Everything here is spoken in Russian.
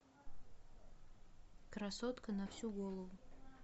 красотка на всю голову